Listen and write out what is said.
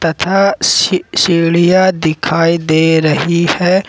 तथा सी सीढ़िया दिखाई दे रही है।